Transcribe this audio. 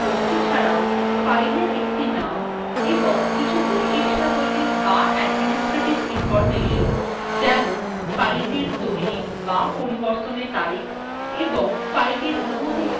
অভ্যন্তরস্থ বস্তু ছাড়াও file একটি name এবং কিছু বৈশিষ্ট্যাবলী বা administrative information যেমন fileটির তৈরী বা পরিবর্তনের তারিখ ও অনুমতি সংক্রান্ত তথ্য থাকে